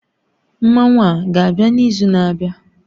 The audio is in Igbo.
Mmanwu a ga-abịa n'izu na-abịa?